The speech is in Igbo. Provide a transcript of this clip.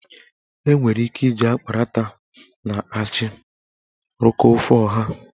Enwere ike iji akparata na achị rụkọọ ofe ọha.